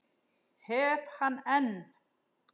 Hef hann enn.